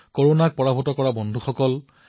এওঁলোকে কৰনাক পৰাজিত কৰিছে